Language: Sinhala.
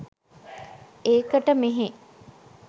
ඒකට මෙහේ